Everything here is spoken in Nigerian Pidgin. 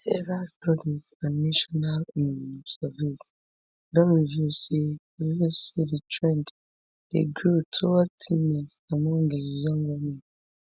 several studies and national um surveys don reveal say reveal say di trend dey grow toward thinness among um young women